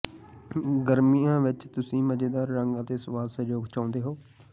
ਗਰਮੀਆਂ ਵਿੱਚ ਤੁਸੀਂ ਮਜ਼ੇਦਾਰ ਰੰਗ ਅਤੇ ਸਵਾਦ ਸੰਯੋਗ ਚਾਹੁੰਦੇ ਹੋ